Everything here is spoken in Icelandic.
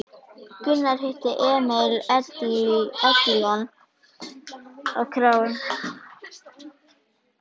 Gunnar hitti Emil Edilon á kránni.